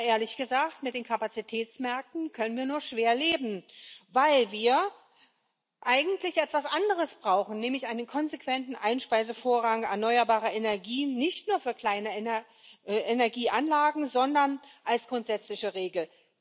Aber, ehrlich gesagt, mit den Kapazitätsmärkten können wir nur schwer leben, weil wir ja eigentlich etwas anderes brauchen, nämlich einen konsequenten Einspeisevorrang erneuerbarer Energien, nicht nur kleiner Energieanlagen, sondern als grundsätzliche Regel.